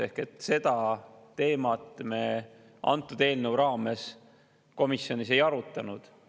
Ehk siis seda teemat me antud eelnõu raames komisjonis ei arutanud.